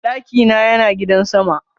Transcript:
Daki na Yana gidan sama.